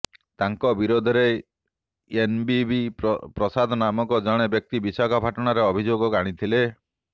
ତାଙ୍କ ବିରୋଧରେ ଏନବିବି ପ୍ରସାଦ ନାମକ ଜଣେ ବ୍ୟକ୍ତି ବିଶାଖାପାଟଣାରେ ଅଭିଯୋଗ ଆଣିଥିଲେ